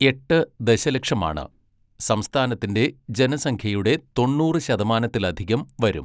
എട്ട് ദശലക്ഷമാണ്, സംസ്ഥാനത്തിന്റെ ജനസംഖ്യയുടെ തൊണ്ണൂറ് ശതമാനത്തിലധികം വരും.